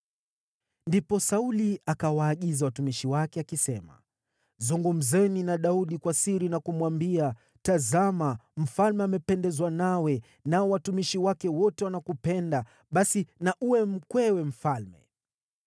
Ndipo Sauli akawaagiza watumishi wake, akisema, “Zungumzeni na Daudi kwa siri na kumwambia, ‘Tazama, mfalme amependezwa nawe, nao watumishi wake wote wanakupenda. Basi na uwe mkwewe mfalme.’ ”